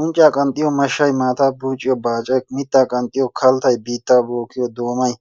Unccaa qanxxiyo mashshay, maataa buucciyo baacay, mittaa qanxxiyo kaltta, biittaa bookkiyo doomay